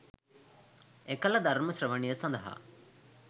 එකල ධර්ම ශ්‍රවණය සඳහා